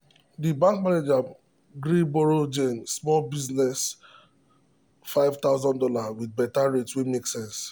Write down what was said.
the bank manager gree borrow jane small business fifty thousand dollars with better rate wey make sense.